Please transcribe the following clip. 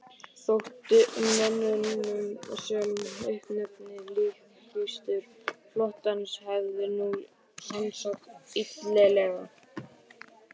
Þótti mönnum sem uppnefnið líkkistur flotans hefði nú sannast illilega.